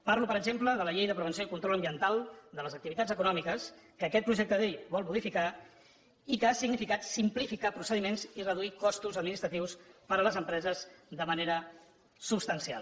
parlo per exemple de la llei de prevenció i control ambiental de les activitats econòmiques que aquest projecte de llei vol modificar i que ha significat simplificar procediments i reduir costos administratius per a les empreses de manera substancial